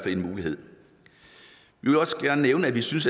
en mulighed vi vil også gerne nævne at vi synes